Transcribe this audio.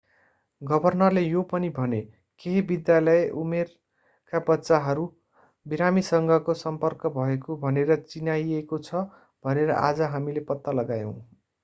गभर्नरले यो पनि भने केही विद्यालय उमेरका बच्चाहरू बिरामीसँगको सम्पर्क भएको भनेर चिनाइएको छ भनेर आज हामीले पत्ता लगायौं